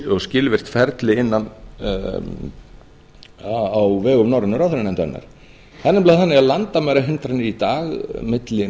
og skilvirkt ferli á vegum norrænu ráðherranefndarinnar það er nefnilega þannig að landamærahindranir í dag milli